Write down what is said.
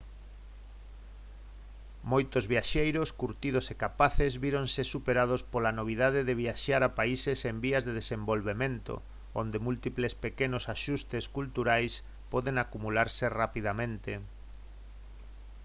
moitos viaxeiros curtidos e capaces víronse superados pola novidade de viaxar a países en vías de desenvolvemento onde múltiples pequenos axustes culturais poden acumularse rapidamente